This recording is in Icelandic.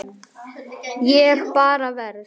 Ég bara verð.